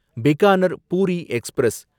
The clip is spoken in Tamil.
பிக்கானர் பூரி எக்ஸ்பிரஸ்